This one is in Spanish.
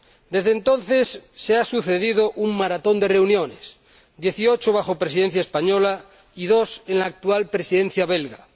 Desde entonces se ha sucedido un maratón de reuniones dieciocho bajo Presidencia española y dos bajo la actual Presidencia belga.